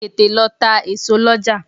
Tètè lọ ta èso lọ́jà!